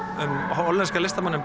hollenska listamanninn